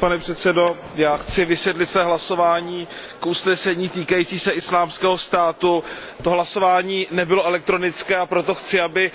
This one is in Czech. Pane předsedající, já chci vysvětlit své hlasování o usnesení týkajícím se Islámského státu. To hlasování nebylo elektronické, a proto chci, aby